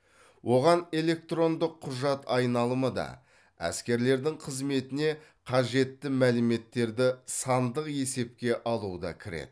оған электронды құжат айналымы да әскерлердің қызметіне қажетті мәліметтерді сандық есепке алу да кіреді